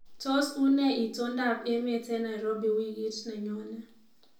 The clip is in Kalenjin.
Tos, unee itondoab emet eng Nairobi wikit nenyone